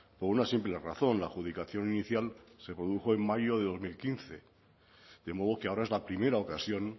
por una simple razón la adjudicación inicial se produjo en mayo de dos mil quince de modo que ahora es la primera ocasión